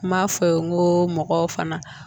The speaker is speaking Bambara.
N m'a fɔ ye n ko mɔgɔw fana